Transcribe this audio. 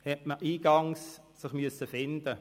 Diesbezüglich musste man sich eingangs finden.